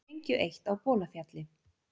Sprengju eytt á Bolafjalli